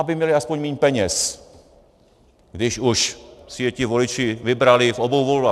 Aby měli aspoň míň peněz, když už si je ti voliči vybrali v obou volbách.